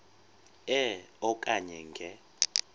e okanye nge